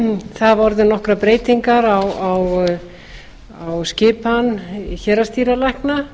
hafa orðið nokkrar breytingar á skipan héraðsdýralækna